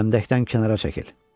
Kənddən kənara çəkil!"